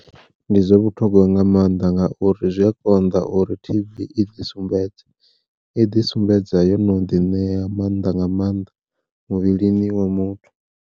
Ndi zwa vhuthogwa nga maanḓa ngauri zwi a konḓa uri T_B i ḓi sumbedze, i ḓi sumbedza yo no ḓi ṋea maanḓa nga maanḓa muvhilini wa muthu.